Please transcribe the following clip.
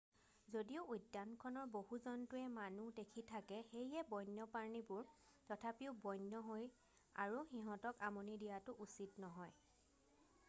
যদিও উদ্যানখনৰ বহু জন্তুৱে মানুহ দেখি থাকে সেয়ে বন্যপ্ৰাণীবোৰ তথাপিও বন্য হৈ আৰু সিহঁতক আমনি দিয়াটো উচিত নহয়